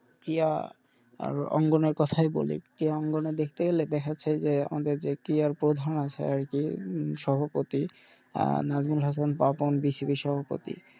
ক্রীড়া আর অঙ্গনের কথাই বলি ক্রীড়া কে অঙ্গনে দেখতে গেলে দেখা যাচ্ছে যে ক্রীড়ার প্রধান আছে আরকি সহপতি আহ সভাপতি,